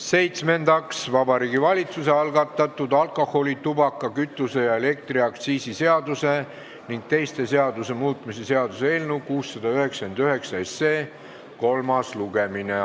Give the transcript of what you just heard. Seitsmendaks, Vabariigi Valitsuse algatatud alkoholi-, tubaka-, kütuse- ja elektriaktsiisi seaduse ning teiste seaduste muutmise seaduse eelnõu 699 kolmas lugemine.